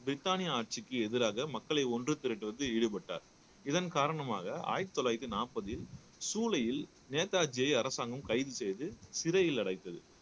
பிரிட்டானிய ஆட்சிக்கு எதிராக மக்களை ஒன்று திரட்டுவது ஈடுபட்டார் இதன் காரணமாக ஆயிரத்தி தொள்ளாயிரத்தி நாற்பதில் சூளையில் நேதாஜியை அரசாங்கம் கைது செய்து சிறையில் அடைத்தது